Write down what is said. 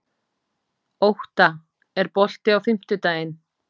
Ótta, er bolti á fimmtudaginn?